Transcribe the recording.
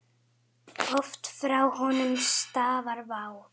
Oft frá honum stafar vá.